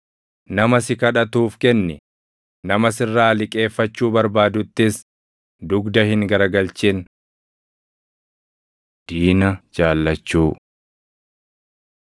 Nama si kadhatuuf kenni; nama sirraa liqeeffachuu barbaaduttis dugda hin garagalchin. Diina Jaallachuu